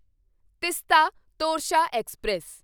Teesta Torsha express